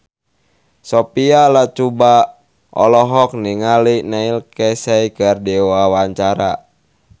Sophia Latjuba olohok ningali Neil Casey keur diwawancara